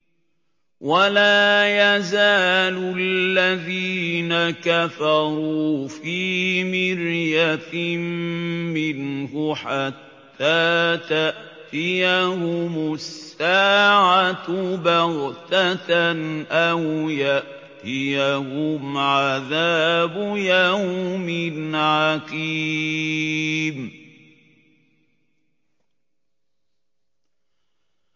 وَلَا يَزَالُ الَّذِينَ كَفَرُوا فِي مِرْيَةٍ مِّنْهُ حَتَّىٰ تَأْتِيَهُمُ السَّاعَةُ بَغْتَةً أَوْ يَأْتِيَهُمْ عَذَابُ يَوْمٍ عَقِيمٍ